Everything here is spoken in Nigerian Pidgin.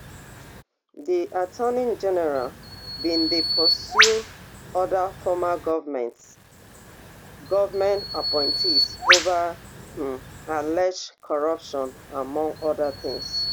di attorney general bin dey pursue oda former government government appointees ova um alleged corruption among oda tins